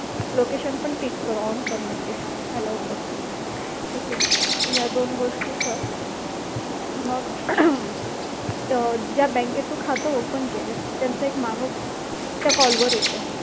location पण tick कर on कर म्हणजे allow कर okay या दोन गोष्टी कर मग ज्या बँकेत तू खात open केलंयस त्यांचा एक माणूस त्या कॉल वर येतो